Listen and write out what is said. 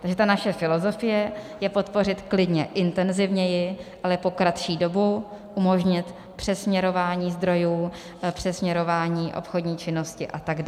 Takže ta naše filozofie je podpořit klidně intenzivněji, ale po kratší dobu, umožnit přesměrování zdrojů, přesměrování obchodní činnosti atd.